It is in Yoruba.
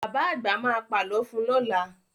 Bàbá àgbà ma pà lọ fun lọ́la